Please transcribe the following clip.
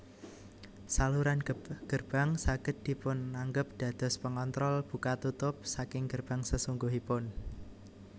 Saluran gerbang saged dipunanggep dados pengontrol buka tutup saking gerbang sesungguhipun